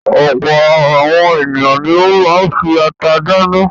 Ọ̀pọ̀ àwọn ènìyàn ni ó máa ń fi ata dáná.